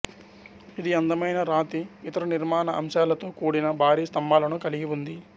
ఇది అందమైన రాతి ఇతర నిర్మాణ అంశాలతో కూడిన భారీ స్తంభాలను కలిగి ఉంది